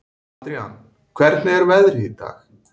Adrian, hvernig er veðrið í dag?